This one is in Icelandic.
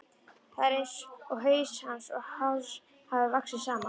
Það er einsog haus hans og háls hafi vaxið saman.